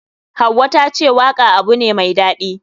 Hauwa tace waka abu ne mai daɗi.